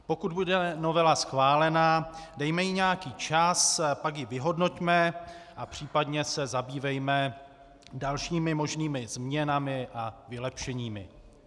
Pokud bude novela schválena, dejme jí nějaký čas, pak ji vyhodnoťme a případně se zabývejme dalšími možnými změnami a vylepšeními.